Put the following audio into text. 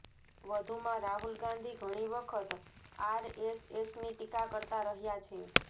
વધુમાં રાહુલ ગાંધી ઘણી વખત આરએસએસની ટીકા કરતા રહ્યા છે